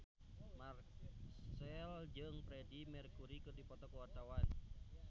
Marchell jeung Freedie Mercury keur dipoto ku wartawan